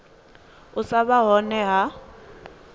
u sa vha hone ha